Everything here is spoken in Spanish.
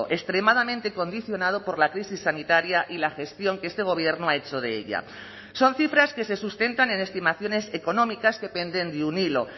extremadamente condicionado por la crisis sanitaria y la gestión que este gobierno ha hecho de ellas son cifras que se sustentan en estimaciones económicas que penden de un hilo